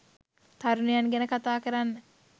තරුණයන් ගැන කතා කරන්න